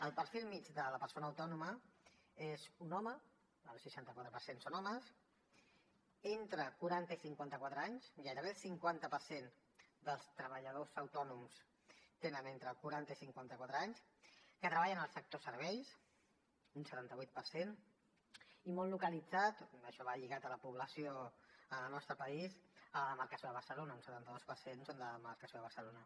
el perfil mitjà de la persona autònoma és un home el seixanta quatre per cent són homes d’entre quaranta i cinquanta quatre anys gairebé el cinquanta per cent dels treballadors autònoms tenen entre quaranta i cinquanta quatre anys que treballa en el sector de serveis un setanta vuit per cent i molt localitzat això va lligat a la població en el nostre país a la demarcació de barcelona un setanta dos per cent són de la demarcació de barcelona